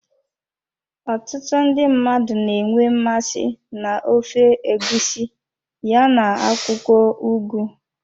Ọtụtụ ndị mmadụ na-enwe mmasị na ofe egusi ya na akwụkwọ ugu.